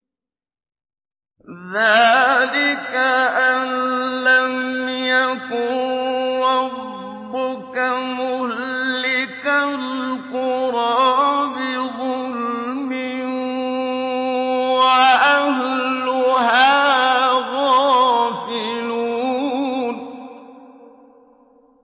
ذَٰلِكَ أَن لَّمْ يَكُن رَّبُّكَ مُهْلِكَ الْقُرَىٰ بِظُلْمٍ وَأَهْلُهَا غَافِلُونَ